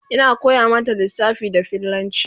Ina koya mata lissafa da fillanci